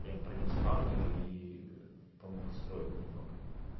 им принёс спавнеры ии помог строить не много